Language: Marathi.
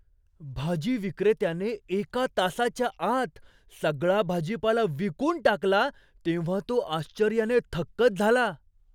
भाजी विक्रेत्याने एका तासाच्या आत सगळा भाजीपाला विकून टाकला तेव्हा तो आश्चर्याने थक्कच झाला.